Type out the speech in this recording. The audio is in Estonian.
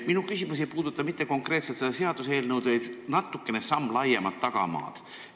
Minu küsimus ei puuduta konkreetselt seda seaduseelnõu, vaid natukene laiemat tagamaad.